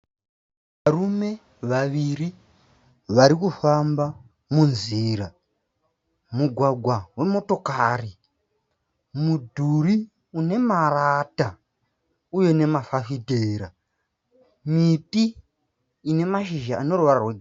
Varume vaviri varikufamba munzira. Mugwagwa wemotokari. Mudhuri inemarata uye nemafafitera. Miti inemashizha aneruvara rwegirinhi.